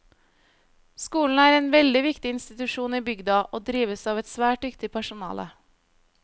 Skolen er en veldig viktig institusjon i bygda, og drives av et svært dyktig personale.